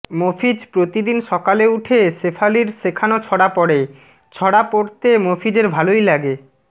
মফিজ প্রতিদিন সকালে উঠে শেফালির শেখানো ছড়া পড়ে ছড়া পড়তে মফিজের ভালোই লাগে